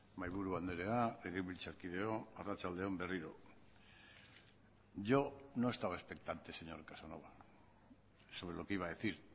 mahaiburu andrea legebiltzarkideok arratsalde on berriro yo no estaba expectante señor casanova sobre lo que iba a decir